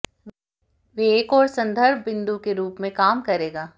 वे एक और संदर्भ बिंदु के रूप में काम करेगा